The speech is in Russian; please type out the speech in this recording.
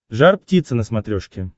жар птица на смотрешке